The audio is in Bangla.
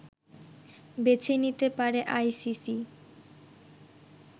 বেছে নিতে পারে আইসিসি